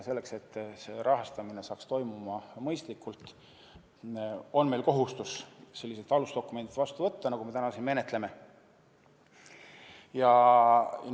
Selleks, et see rahastamine toimuks mõistlikult, on meil kohustus sellised alusdokumendid, nagu me täna siin menetleme, vastu võtta.